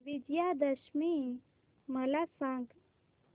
विजयादशमी मला सांग